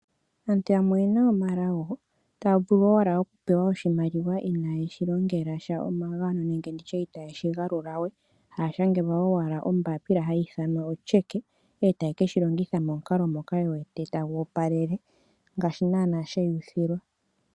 Aantu yamwe oyena omalago taya vulu owala okupewa oshimaliwa ina ye shi longela sha omagano, nenge nditye ita ye shi galula we. Haya shangelwa owala ombapila hayi ithanwa o'Cheque' e taye ke shi longitha momukalo moka.ye wete ta gu opalele, ngaashi naana she ya uthilwa.